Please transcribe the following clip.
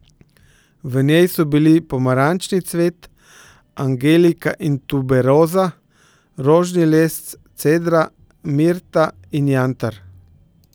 V njej so bili pomarančni cvet, angelika in tuberoza, rožni les, cedra, mirta in jantar.